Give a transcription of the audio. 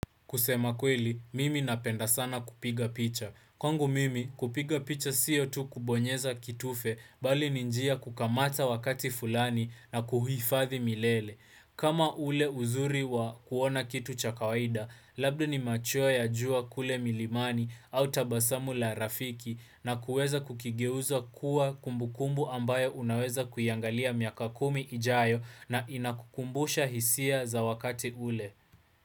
Kusema kweli, mimi napenda sana kupiga picha. Kwangu mimi kupiga picha siyo tu kubonyeza kitufe bali ni njia ya kukamata wakati fulani na kuhifadhi milele. Kama ule uzuri wa kuona kitu cha kawaida, labda ni machua ya jua kule milimani au tabasamu la rafiki na kuweza kukigeuza kuwa kumbu kumbu ambayo unaweza kuiangalia miaka kumi ijayo na inakukumbusha hisia za wakati ule.